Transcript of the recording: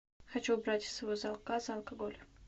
хочу убрать из своего заказа алкоголь